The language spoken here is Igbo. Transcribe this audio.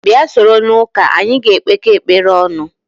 Bịa soro n'ụka anyị ga-ekpekọ ekpere ọnụ